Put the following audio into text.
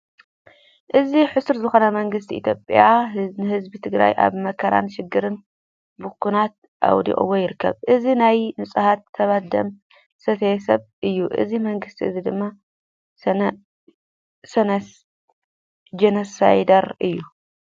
እዚ ሕሳር ዝኮነ መንግስቲ ኢትዮጵያ ንህዝቢ ትግራይ ኣብ መከራን ሽግርን ብኩናት ኣውዲቅዎ ይርከብ። እዚ ናይ ንፁሃት ሰብ ደም ዝሰትይ ሰብ እዩ። እዚ መንግስቲ እዚ ድማ ጆነሳይደር እዩ።